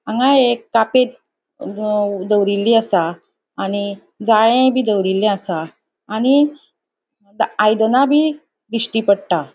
हांगा एक कापेत दवरिल्ल्ली असा आणि जाळे बी दवरिल्ले आसा आणि आयदाना बी दिश्टी पट्टा.